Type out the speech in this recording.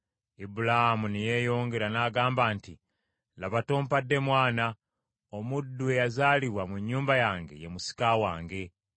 Ibulaamu ne yeeyongera n’agamba nti, “Laba tompadde mwana; omuddu eyazaalibwa mu nnyumba yange ye musika wange.”